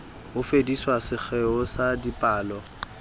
ho fedisa sekgeo sa dipalo